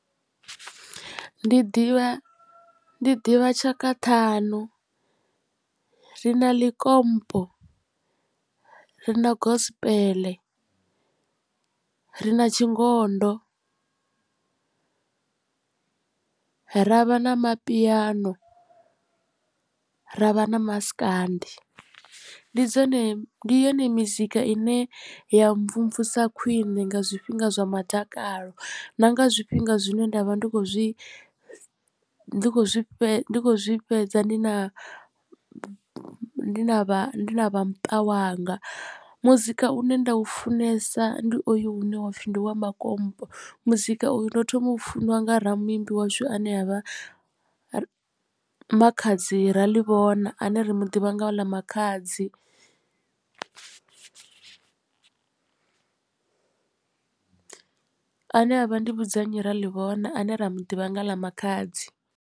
Ndi ḓivha ndi ḓivha tshaka ṱhanu ri na likompo ri na gospel ri na tshingondo ravha na mapiano ravha na maskandi ndi dzone ndi yone mizika ine ya mvumvusa khwiṋe nga zwifhinga zwa mudakalo na nga zwifhinga zwine nda vha ndi kho zwi ndi kho zwi fhedza ndi kho zwi fhedza ndi na ndi na vhamuṱa wanga muzika u ne nda u funesa ndi oyu une wa pfhi ndi wa makompo muzika uyu ndo thoma u funa nga ra muimbi washu ane a vha Makhadzi Raḽivhona ane ri muḓivha nga ḽa Makhadzi ane avha Ndivhudzannyi Raḽivhona ane ra muḓivha nga ḽa Makhadzi.